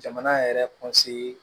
Jamana yɛrɛ